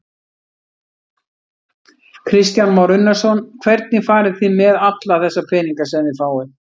Kristján Már Unnarsson: Hvernig farið þið með alla þessa peninga sem þið fáið?